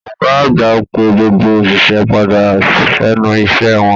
Ọgá àgbà pé gbogbo oṣiṣẹ padà s'ẹnu iṣẹ wọn.